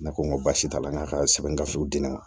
Ne ko n ko baasi t'a la n k'a ka sɛbɛn gafew di ne ma